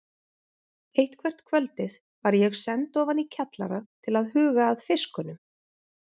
Eitthvert kvöldið var ég send ofan í kjallara til að huga að fiskunum.